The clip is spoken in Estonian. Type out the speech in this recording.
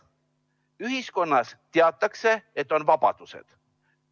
Ühiskonnas teatakse, et on vabadused.